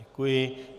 Děkuji.